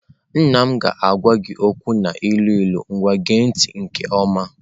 Nna m ga-agwa gị okwu n'ilu ilu nwaa gee ntị nke ọma.